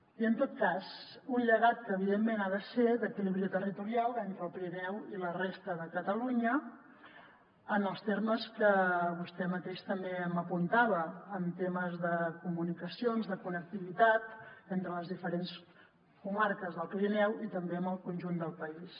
i en tot cas un llegat que evidentment ha de ser d’equilibri territorial entre el pirineu i la resta de catalunya en els termes que vostè mateix també m’apuntava en temes de comunicacions de connectivitat entre les diferents comarques del pirineu i també amb el conjunt del país